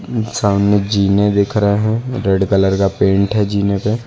सामने झीने दिख रहे हैं रेड कलर का पेंट है झीने पर।